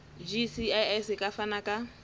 gcis e ka fana ka